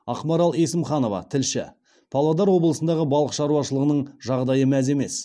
ақмарал есімханова тілші павлодар облысындағы балық шаруашылығының жағдайы мәз емес